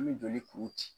An bɛ joli kuru ci